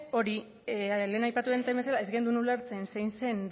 lehen aipatu den bezala ez genuen ulertzen zein zen